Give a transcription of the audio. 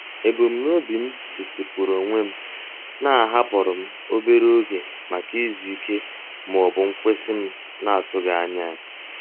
Ebumnobi m setịpụrụ onwe m na-ahapụrụ m obere oge maka izu ike ma ọ bụ nkwụsị m na-atụghị anya ya.